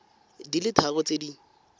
di le tharo tse di